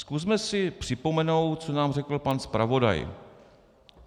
Zkusme si připomenout, co nám řekl pan zpravodaj.